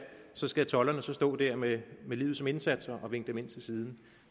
så skal tolderne stå der med livet som indsats og vinke dem ind til siden